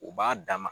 U b'a dama